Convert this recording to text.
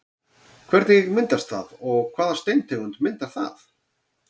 Hvernig myndast það og hvaða steintegund myndar það?